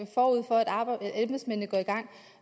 embedsmændene går i gang